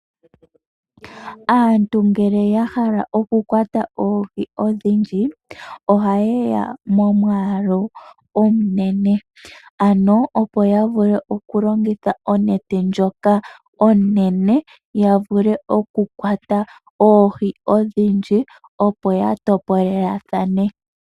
Aantu momikunda ngele ya hala oku kwata omwaalu gwoohi odhindji, ohaya kala momwaalu omunene. Ohashi kala oshipu okulongitha onete ndjoka onene wo.